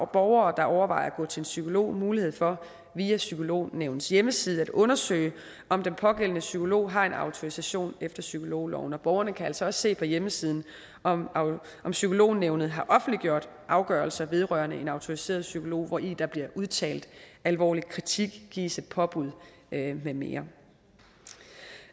borgere der overvejer at gå til en psykolog mulighed for via psykolognævnets hjemmeside at undersøge om den pågældende psykolog har en autorisation efter psykologloven borgerne kan altså også se på hjemmesiden om psykolognævnet har offentliggjort afgørelser vedrørende en autoriseret psykolog hvori der bliver udtalt alvorlig kritik gives et påbud med mere